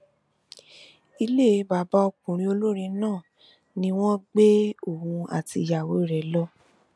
ilé bàbá ọkùnrin olórin náà ni wọn gbé òun àti ìyàwó rẹ lọ